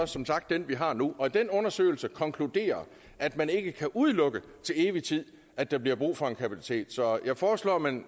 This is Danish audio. som sagt den vi har nu den undersøgelse konkluderer at man ikke kan udelukke til evig tid at der bliver brug for en kapacitet så jeg foreslår at man